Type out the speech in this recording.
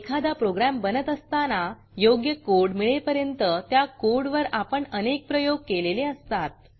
एखादा प्रोग्रॅम बनत असताना योग्य कोड मिळेपर्यंत त्या कोडवर आपण अनेक प्रयोग केलेले असतात